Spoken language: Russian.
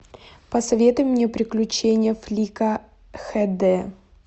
посоветуй мне приключения флика хд